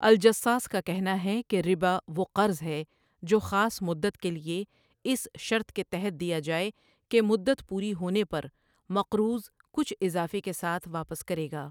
الجصاصؒ کا کہنا ہے کہ ربا وہ قرض ہے جو خاص مدت کے لیے اس شرط کے تحت دیا جائے کہ مدت پوری ہونے پرمقروض کچھ اضافے کے ساتھ واپس کرے گا۔